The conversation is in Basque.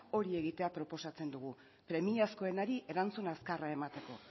hori egitea proposatzen dugu premiazkoenari erantzun azkarra emateko